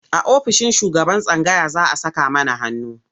A ofishin shugaban tsangaya za a saka mana hannu.